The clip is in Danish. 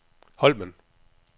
Holmen